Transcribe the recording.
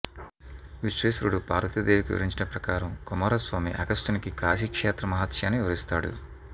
విశ్వేశ్వరుడు పార్వతీదేవికి వివరించిన ప్రకారం కుమారస్వామి అగస్త్యునికి కాశీక్షేత్ర మహాత్మ్యాన్ని వివరిస్తాడు